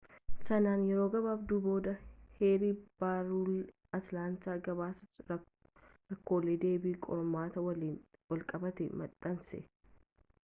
sanaan yeroo gabaabduu booda, heerri-barrulee atilaantaa gabaasa rakkoolee deebii qormaataa waliin walqabatan maxxanse